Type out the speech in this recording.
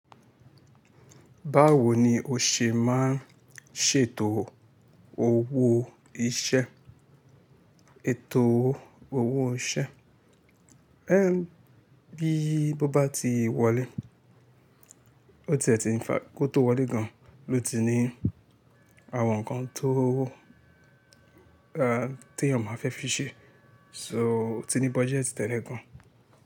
Báwo ni o ṣè máa ń ṣètò owó iṣẹ́? Ètò owó iṣẹ́, ẹ́, bíi bó bá ti wọlé ó ti ẹ̀ ti ń fa, kó tó wọlé gan ló ti ní àwọn ǹkan tó wó, a, tí èèyàn máa fẹ́ fi ṣe. So ó ti ní budget tẹ́lẹ̀ gan.